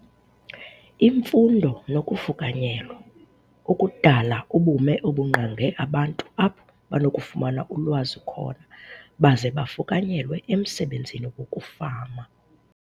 Imfundo nokufukanyelwa - ukudala ubume obungqonge abantu apho banokufumana ulwazi khona baze bafukanyelwe emsebenzini wokufama,